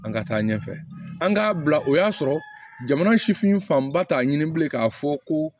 An ka taa ɲɛfɛ an k'a bila o y'a sɔrɔ jamana sifin fanba t'a ɲini bilen k'a fɔ ko